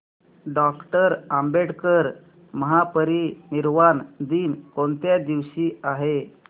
doctor Ambedkar महापरिनिर्वाण दिन कोणत्या दिवशी आहे